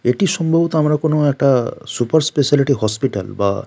এটি সম্ভবত আমরা কোনো একটা সুপার স্পেশালিটি হসপিটাল বা।